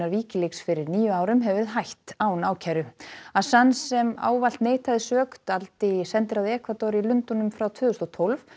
Wikileaks fyrir níu árum hefur hætt án ákæru assange sem ávallt neitaði sök dvaldi í sendiráði Ekvador í Lundúnum frá tvö þúsund og tólf